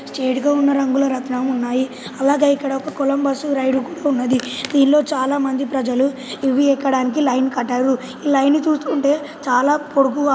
చేడుగా ఉన్నాం రంగులరాట్నం ఉన్నాయి అలాగా ఇక్కడ ఒక కొలంబస్ రైడ్ కూడా ఉన్నది దీనిలో చాలామంది ప్రజలు ఇవి ఎక్కడానికి లైన్ కట్టారు ఈ లైన్ ని చూస్తుంటే చాలా పొడుగుగా--